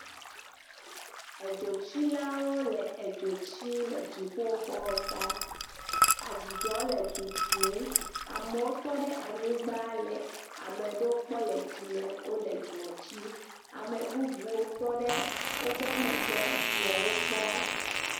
Edzotsilawo le edzo tsim le dziƒoxɔta, amewotɔ ɖe anyigba le ameɖe kpɔm le dzime wole dzoɔ tsi, ame bubuwo tɔ ɖe wobe megbe wole wo kpɔm.